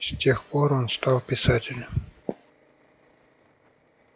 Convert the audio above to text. с тех пор он стал писателем